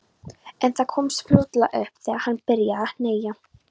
En það komst fljótlega upp þegar hann byrjaði að hneggja.